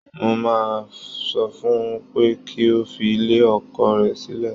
Mo máa sọ fún ẹ pé kí o fi ilé ọkọ rẹ sílẹ̀